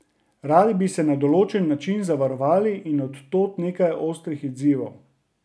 Radi bi se na določen način zavarovali in od tod nekaj ostrih odzivov.